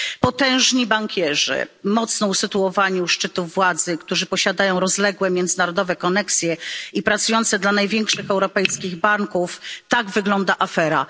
Potężni bankierzy, mocno usytuowani u szczytów władzy, którzy posiadają rozległe międzynarodowe koneksje i pracujący dla największych europejskich banków tak wygląda afera.